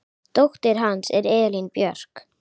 Dóttir hans er Elín Björk.